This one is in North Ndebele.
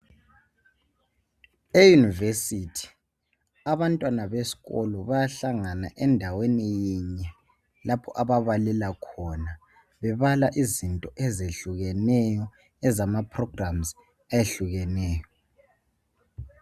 Eyunivesithi abantwana besikolo bayahlangana endaweni yinye lapho ababhalela khona .bebala izinto ezehlukeneyo ezama programs ayehlukeneyo.